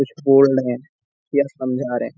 कुछ बोल रहे या समझा रहे।